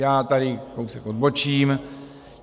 Já tady kousek odbočím.